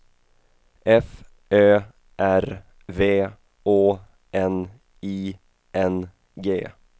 F Ö R V Å N I N G